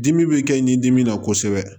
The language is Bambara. Dimi bɛ kɛ nin dimi na kosɛbɛ